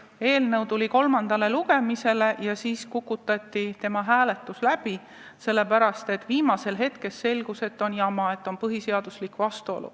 Eelnõu tuli kolmandale lugemisele ja siis kukutati tema hääletus läbi, sellepärast et viimasel hetkel selgus, et on jama, et on vastuolu põhiseadusega.